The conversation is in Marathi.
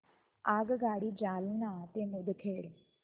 आगगाडी जालना ते मुदखेड